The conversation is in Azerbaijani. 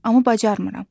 amma bacarmıram.